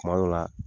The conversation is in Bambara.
Kuma dɔ la